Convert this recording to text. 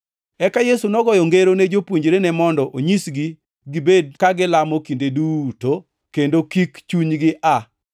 Eka Yesu nogoyo ngero ne jopuonjrene mondo onyisgi gibed ka gilamo kinde duto kendo kik chunygi aa.